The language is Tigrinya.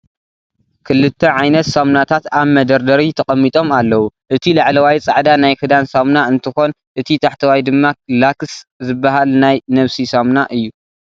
ክልተ ዓይነት ሳሙናታት ኣብ መደርደሪ ተቐሚጦም ኣለዉ፡፡ እቲ ላዕለዋይ ፃዕዳ ናይ ክዳን ሳሙና እንትኾን እቲ ታሕተዋይ ድማ ላክስ ዝበሃል ናይ ነብሲ ሳሙና እዩ፡፡